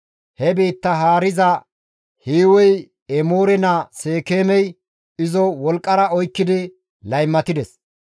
He biittaa haariza Hiiwey Emoore naa Seekeemey izo wolqqara oykkidi laymatides.